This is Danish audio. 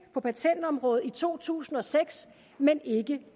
på patentområdet i to tusind og seks men ikke